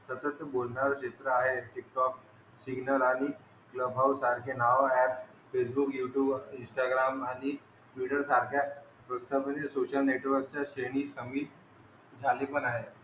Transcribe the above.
तसंच बोलणारं चित्र आहे टिकटॉक सिग्नल आणि क्लबहाउस सारखे नाव ऍप फेसबुक, युट्युब, इंस्टाग्राम आणि ट्विटर सारख्या रोजच्यामधे सोशल नेटवर्कच्या श्रेणी सहित झाले पण आहे.